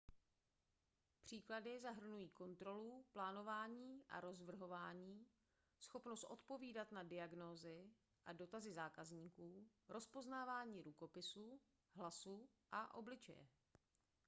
příklady zahrnují kontrolu plánování a rozvrhování schopnost odpovídat na diagnózy a dotazy zákazníků rozpoznávání rukopisu hlasu a obličeje